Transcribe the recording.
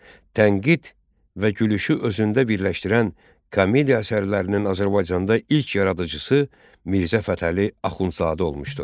Tənqid və gülüşü özündə birləşdirən komediya əsərlərinin Azərbaycanda ilk yaradıcısı Mirzə Fətəli Axundzadə olmuşdur.